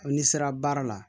N'i sera baara la